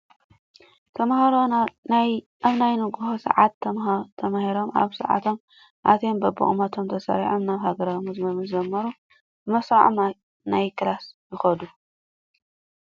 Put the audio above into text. ተማህሮ ኣብ ናይ ንጉሆ ስዓት ተማህሮ ኣብ ስዓቶም ኣትዮም በብቁሞቶም ተሰሪዖም ናይ ሃገራዊ መዝሙር ምስ ዘመሪ ብመስረዖም ናይ ክላስ ይከዱ።